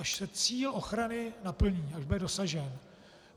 Až se cíl ochrany naplní, až bude dosažen?